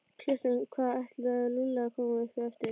Klukkan hvað ætlaði Lúlli að koma upp eftir?